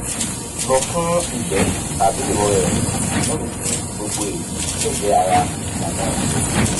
3 lọ fún ìgbẹ́ tàbí ìrora ẹ̀yìn ní ìsinmi gbogbo èyí lè jẹ́ ara ìlànà ìwòsàn